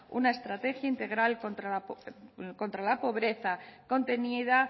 una estrategia integral contra la pobreza contenida